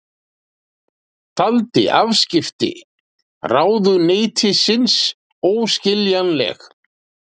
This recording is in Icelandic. Taldi afskipti ráðuneytisins óskiljanleg